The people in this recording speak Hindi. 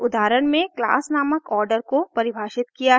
मैंने इस उदाहरण में क्लास नामक order को परिभाषित किया है